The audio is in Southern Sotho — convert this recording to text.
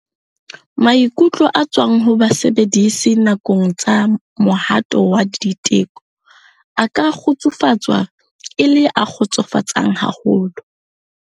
Maikutlo a tswang ho basebedisi nakong tsa mohato wa diteko a ka kgutsufatswa e le a kgotsofatsang haholo.